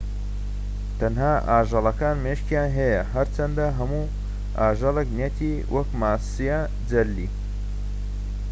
تەنها ئاژەڵەکان مێشكیان هەیە هەرچەندە هەموو ئاژەڵێك نیەتی وەکو ماسیە جەلی